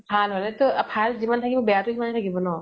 ভাল হলে তো । ভাল যিমান থাকিব বেয়া তো সিমানেই থাকিব ন ?